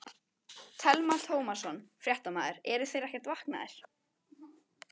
Telma Tómasson, fréttamaður: Eru þeir ekkert vankaðir?